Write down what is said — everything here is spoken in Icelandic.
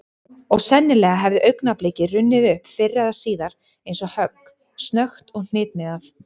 Og sennilega hefði augnablikið runnið upp fyrr eða síðar eins og högg, snöggt og hnitmiðað.